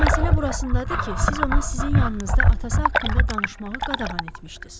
Amma məsələ burasındadır ki, siz ona sizin yanınızda atası haqqında danışmağı qadağan etmişdiz.